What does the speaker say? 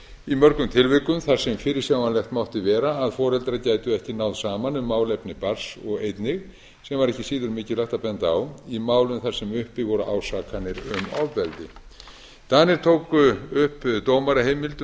í mörgum tilvikum þar sem fyrirsjáanlegt mátti vera að foreldrar gætu ekki náð saman um málefni barns og einnig sem var ekki síður mikilvægt að benda á í málum þar sem uppi voru ásakanir um ofbeldi danir tóku upp dómaraheimild um